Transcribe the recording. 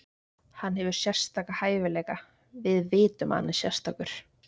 Hann hefur sérstaka hæfileika, við vitum að hann er sérstakur.